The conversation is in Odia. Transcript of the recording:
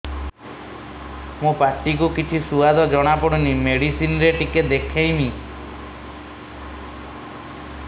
ମୋ ପାଟି କୁ କିଛି ସୁଆଦ ଜଣାପଡ଼ୁନି ମେଡିସିନ ରେ ଟିକେ ଦେଖେଇମି